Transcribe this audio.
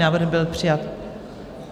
Návrh byl přijat.